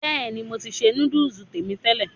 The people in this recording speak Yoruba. Bẹ́ẹ̀ ni, mo ti ṣe núdùs tèmi tẹ́lẹ̀.